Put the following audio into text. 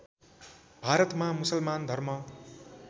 भारतमा मुसलमान धर्म